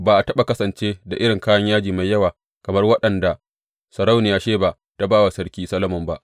Ba a taɓa kasance da irin kayan yaji mai yawa kamar waɗanda sarauniyar Sheba ta ba wa sarki Solomon ba.